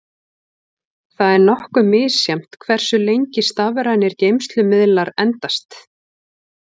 Það er nokkuð misjafnt hversu lengi stafrænir geymslumiðlar endast.